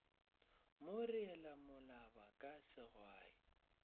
mo reela molaba ka segwai